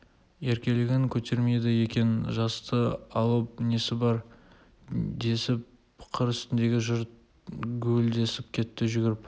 еркелігін көтермейді екен жасты алып несі бар десіп қыр үстіндегі жұрт гуілдесіп кетті жүгіріп